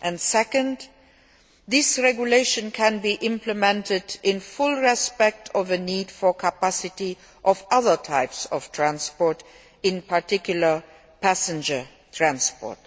Second, this regulation can be implemented in full respect of the need for capacity of other types of transport, in particular passenger transport.